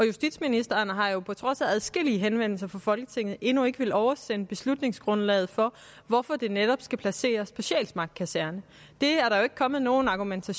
justitsministeren har på trods af adskillige henvendelser fra folketinget endnu ikke villet oversende beslutningsgrundlaget for hvorfor det netop skal placeres på sjælsmark kaserne det er der jo ikke kommet nogen argumenter